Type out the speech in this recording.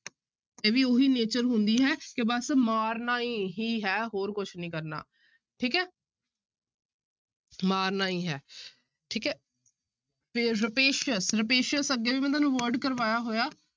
ਇਹ ਵੀ ਉਹੀ nature ਹੁੰਦੀ ਹੈ ਕਿ ਬਸ ਮਾਰਨਾ ਹੀ ਹੈ ਹੋਰ ਕੁਛ ਨੀ ਕਰਨਾ, ਠੀਕ ਹੈ ਮਾਰਨਾ ਹੀ ਹੈ ਠੀਕ ਹੈ ਫਿਰ rapacious, rapacious ਅੱਗੇ ਵੀ ਮੈਂ ਤੁਹਾਨੂੰ word ਕਰਵਾਇਆ ਹੋਇਆ